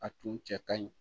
A tun cɛ ka ɲi